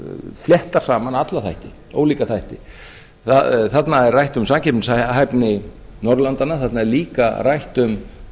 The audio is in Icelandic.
fléttar saman alla þætti ólíka þætti þarna er rætt um samkeppnishæfni norðurlandanna þarna er líka rætt um